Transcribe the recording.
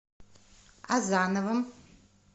азановым